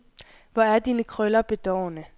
Hvor er dine krøller bedårende.